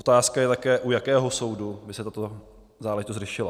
Otázka je také, u jakého soudu by se tato záležitost řešila.